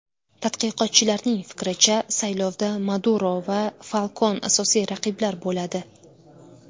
Tadqiqotchilarning fikricha, saylovda Maduro va Falkon asosiy raqiblar bo‘ladi.